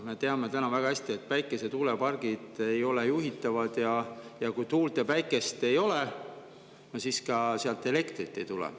Me teame väga hästi, et päikese‑ ja tuulepargid ei ole juhitavad ning kui tuult ja päikest ei ole, siis sealt ka elektrit ei tule.